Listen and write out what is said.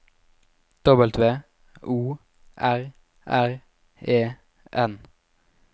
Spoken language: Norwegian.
W O R R E N